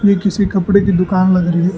ये किसी कपड़े की दुकान लग रही--